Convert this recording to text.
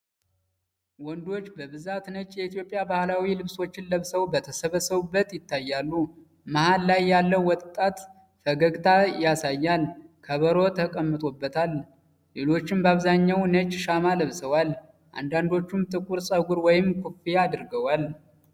ወንዶች በብዛት ነጭ የኢትዮጵያ ባህላዊ ልብሶችን ለብሰው በተሰበሰቡበት ይታያሉ። መሀል ላይ ያለው ወጣት ፈገግታ ያሳያል፣ ከበሮ ተቀምጦበታል። ሌሎችም በአብዛኛው ነጭ ሻማ ለብሰዋል፣ አንዳንዶቹም ጥቁር ፀጉር ወይም ኮፍያ አድርገዋል።